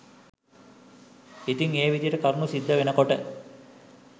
ඉතින් ඒ විදිහට කරුණු සිද්ධ වෙනකොට